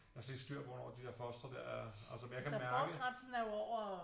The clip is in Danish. Jeg har slet ikke styr hvornår de der foster der er altså men jeg kan mærke